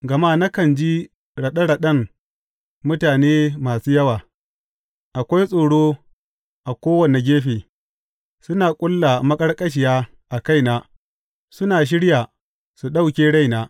Gama nakan ji raɗe raɗen mutane masu yawa; akwai tsoro a kowane gefe; suna ƙulla maƙarƙashiya a kaina suna shirya su ɗauke raina.